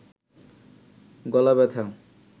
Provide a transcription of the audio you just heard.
গলা ব্যাথা